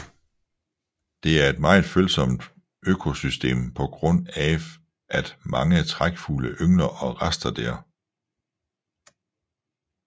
Det er et meget følsomt økosystem på grund af af af at mange trækfugle yngler og raster der